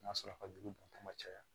N'a sɔrɔ ka jugu bama caya